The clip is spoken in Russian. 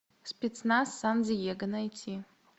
спецназ сан диего найти